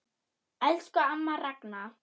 Elsku amma Ragna.